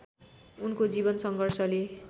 उनको जीवन सङ्घर्षले